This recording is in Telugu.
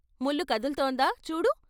' ముల్లు కదులుతోందా చూడు '.